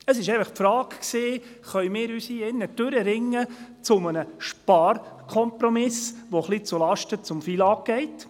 Es war einfach die Frage, ob wir uns hier drin zu einem Sparkompromiss durchringen können, der etwas zulasten des FILAG geht.